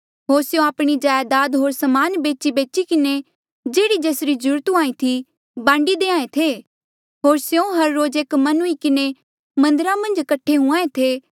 होर स्यों आपणी जायदाद होर समान बेचीबेची किन्हें जेह्ड़ी जेसरी ज्रूरत हुंहा ईं थी बांडी देहां ऐें थे